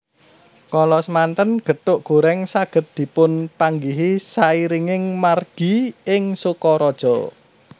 Kala samanten gethuk gorèng saged dipunpanggihi sairinging margi ing Sokaraja